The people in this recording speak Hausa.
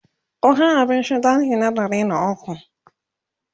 ku Kai abinci ɗaki na ɗari da ukwu!